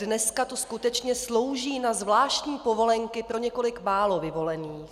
Dneska to skutečně slouží na zvláštní povolenky pro několik málo vyvolených.